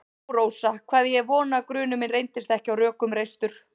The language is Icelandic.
Ó, Rósa, hvað ég hef vonað að grunur minn reyndist ekki á rökum reistur.